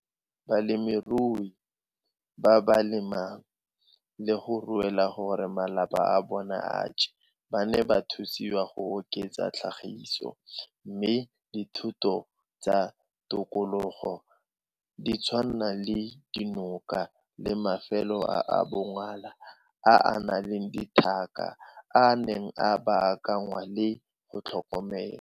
Balemirui ba ba le mang le go ruela gore malapa a bona a je ba ne ba thusiwa go oketsa tlhagiso, mme dithoto tsa tikologo di tshwana le dinoka le mafelo a a bongola a a nang le letlhaka a ne a baakanngwa le go tlhokomelwa.